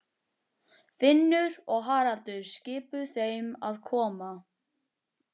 Finnur og Haraldur skipuðu þeim að koma.